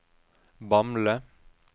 Bamble